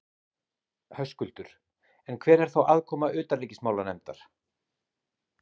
Höskuldur: En hver er þá aðkoma utanríkismálanefndar?